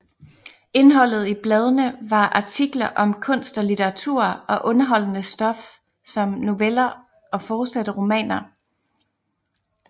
Indholdet i bladene var artikler om kunst og litteratur og underholdende stof som noveller og forsatte romaner